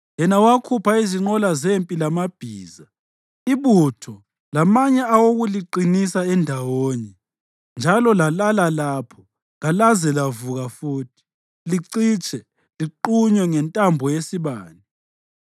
yena owakhupha izinqola zempi lamabhiza, ibutho, lamanye awokuliqinisa endawonye; njalo lalala lapho, kalaze lavuka futhi; licitshe, liqunywe njengentambo yesibane: